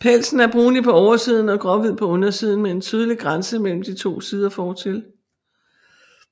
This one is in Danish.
Pelsen er brunlig på oversiden og gråhvid på undersiden med en tydelig grænse mellem de to sider fortil